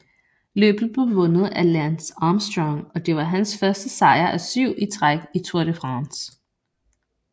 Løbet blev vundet af Lance Armstrong og det var hans første sejr af 7 i træk i Tour de France